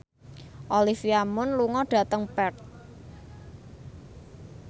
Olivia Munn lunga dhateng Perth